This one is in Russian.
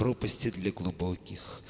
пропасти для глубоких